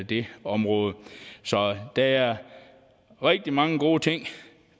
det område så der er rigtig mange gode ting